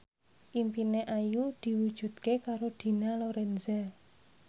impine Ayu diwujudke karo Dina Lorenza